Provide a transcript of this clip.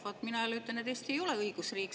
Vaat mina jälle ütlen, et Eesti ei ole õigusriik.